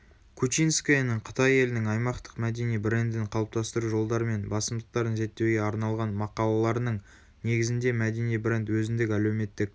кучинскаяның қытай елінің аймақтық мәдени брендін қалыптастыру жолдары мен басымдықтарын зерттеуге арналған мақалаларының негізінде мәдени бренд өзіндік әлеуметтік